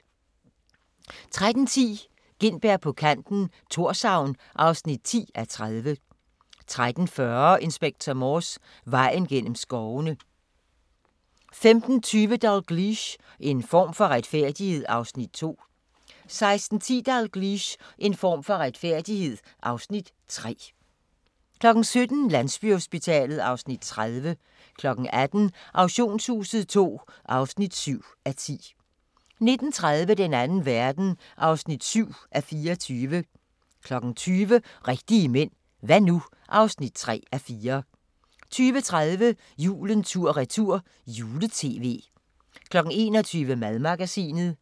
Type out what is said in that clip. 13:10: Gintberg på kanten - Thorshavn (10:30) 13:40: Inspector Morse: Vejen gennem skovene 15:20: Dalgliesh: En form for retfærdighed (Afs. 2) 16:10: Dalgliesh: En form for retfærdighed (Afs. 3) 17:00: Landsbyhospitalet (Afs. 30) 18:00: Auktionshuset II (7:10) 19:30: Den Anden Verden (7:24) 20:00: Rigtige mænd – hva' nu? (3:4) 20:30: Julen tur-retur - juletv 21:00: Madmagasinet